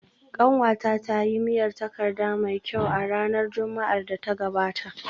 Kanwata ta yi miyar takarda mai kyau a ranar Juma’ar da ta gabata